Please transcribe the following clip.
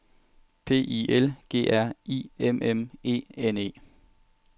P I L G R I M M E N E